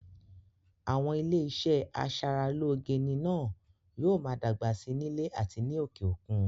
Àwọn ilé iṣẹ́ aṣaralóge ní na yóò ma dàgbà si nílẹ̀ àti ní òkè òkun